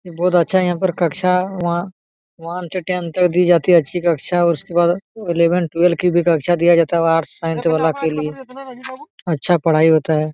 बहुत अच्छा है यहाँ पे कक्षा वा वन से टेन तक दी जाती है अच्छी कक्षा। उसके बाद इलेवंथ ट्वेल्थ की भी कक्षा दिया जाता है आर्ट्स साइंस वाला के लिए अच्छा पढ़ाई होता है।